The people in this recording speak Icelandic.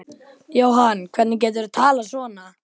Jóhann, hvernig geturðu talað svona?